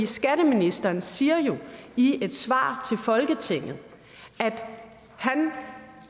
skatteministeren siger jo i et svar til folketinget at han